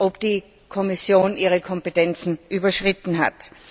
ob die Kommission ihre Kompetenzen überschritten hat.